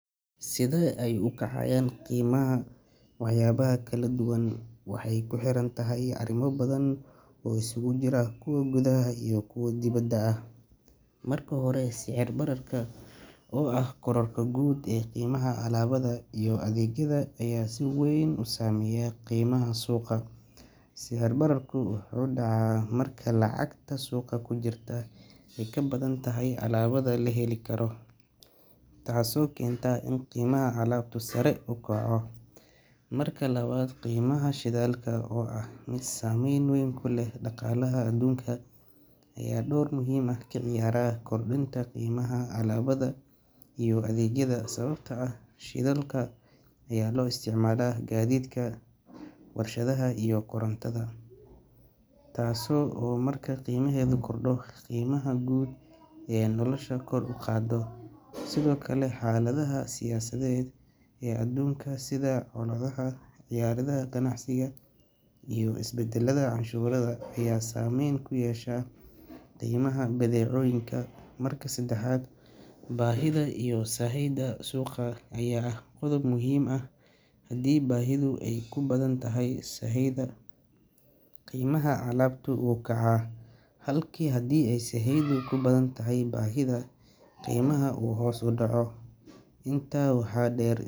Sida ay ukacayaan qiimaha waxyaabaha kala duwan waxay ku xirantahay arrimo badan oo isugu jira kuwa gudaha iyo kuwa dibadda ah. Marka hore, sicir bararka oo ah kororka guud ee qiimaha alaabada iyo adeegyada ayaa si weyn u saameeya qiimaha suuqa. Sicir bararku wuxuu dhacaa marka lacagta suuqa ku jirta ay ka badan tahay alaabada la heli karo, taasoo keenta in qiimaha alaabtu sare u kaco. Marka labaad, qiimaha shidaalka oo ah mid saameyn weyn ku leh dhaqaalaha adduunka ayaa door muhiim ah ka ciyaara kordhinta qiimaha alaabada iyo adeegyada, sababtoo ah shidaalka ayaa loo isticmaalaa gaadiidka, warshadaha iyo korontada, taas oo marka qiimaheedu kordho qiimaha guud ee nolosha kor u qaada. Sidoo kale, xaaladaha siyaasadeed ee aduunka sida colaadaha, xayiraadaha ganacsiga iyo isbedelada canshuuraha ayaa saameyn ku yeesha qiimaha badeecooyinka. Marka saddexaad, baahida iyo sahayda suuqa ayaa ah qodob muhiim ah; haddii baahidu ay ka badan tahay sahayda, qiimaha alaabtu wuu kacaa, halka haddii sahaydu ka badan tahay baahida, qiimaha uu hoos u dhaco. Intaa waxaa dheer.